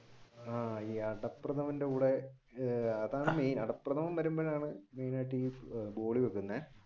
അടപ്രഥമന്റെ കൂടെ അതാണ് main അടപ്രഥമൻ വഴുമ്പോഴാണ്